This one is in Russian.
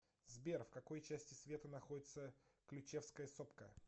сбер в какой части света находится ключевская сопка